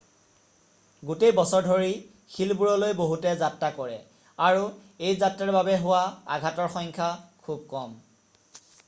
গোটেই বছৰ ধৰি শিলবোৰলৈ বহুতে যাত্ৰা কৰে আৰু এই যাত্ৰাৰ বাবে হোৱা আঘাতৰ সংখ্যা খুব কম